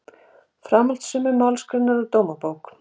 Framhald sömu málsgreinar úr Dómabók